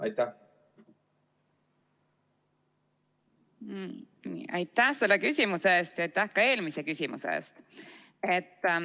Aitäh sulle küsimuse eest ja aitäh ka eelmise küsimuse eest!